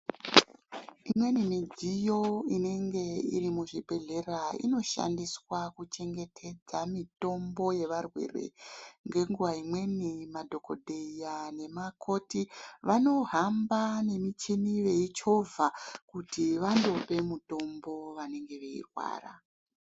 Imweni midziyo inenge iri muzvibhedhera inoshandiswa kuchengetedza mitombo yevarwere ngenguwa imweni madhokodheya nevakoti vanohamba nemichini veichovha kuti vandope mutombo vanenge veirwara.